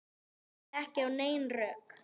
Ég hlustaði ekki á nein rök.